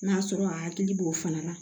N'a sɔrɔ a hakili b'o fana na